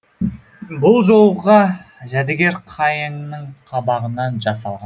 бұл жолға жәдігер қайыңның қабағынан жасал